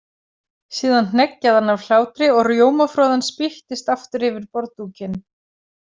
Síðan hneggjaði hann af hlátri og rjómafroðan spýttist aftur yfir borðdúkinn.